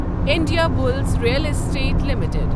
Indiabulls real estate limited